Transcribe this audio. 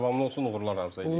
Davamlı olsun, uğurlar arzu edirəm.